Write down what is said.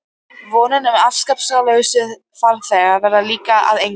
Vonin um afskiptalausa farþega varð líka að engu.